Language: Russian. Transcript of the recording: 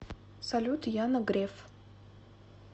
салют яна греф